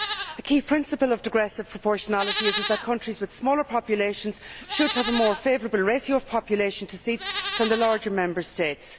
The key principle of digressive proportionality is that countries with smaller populations should have a more favourable ratio of population to seats than the larger Member States.